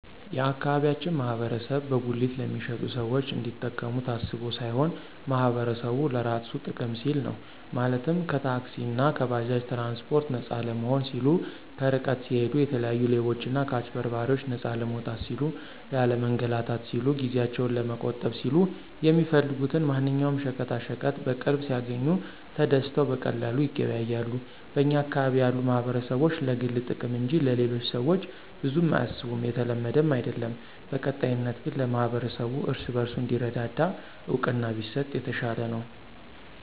የአካባቢያችን ማህበረሰብ በጉሊት ለሚሸጡት ሰዎች እንዲጠቀሙ ታስቦ ሳይሆን ማህበረሰቡ ለራሱ ጥቅም ሲል ነው፤ ማለትም ከታክሲእና ከባጃጅ ትራንስፓርት ነፃ ለመሆን ሲሉ፣ ከርቀት ሲሂዱ የተለያዩ ሌቦችና ከአጭበርባሪዎች ነፃ ለመውጣት ሲሉ፣ ላለመንላታት ሲሉ፣ ጊዜአቸውን ለመቆጠብ ሲሉ፣ የሚፈልጉትን ማንኛውም ሸቀጣሸቀጥ በቅርብ ሲያግኙ ተደስተው በቀላሉ ይገበያያሉ። በኛ አካባቢ ያሉ ማህበረሰቦች ለግል ጥቅም እንጅ ለሌሎቹ ሰዎች ብዙም አያስቡም የተለመደም አይድለም። በቀጣይነት ግን ለማህበረሰቡ እርስ በርሱ እንዲረዳዳ እውቅና ቢሰጥ የተሻለ ነው።